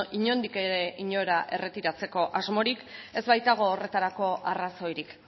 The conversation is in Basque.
inondik ere inora erretiratzeko asmorik ez baitago horretarako arrazoirik